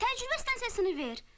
Təcrübə stansiyasını ver.